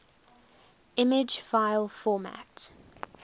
image file format